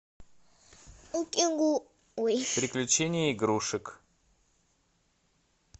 приключения игрушек